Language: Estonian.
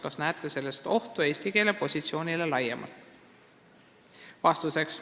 Kas näete selles ohtu eesti keele positsioonile laiemalt?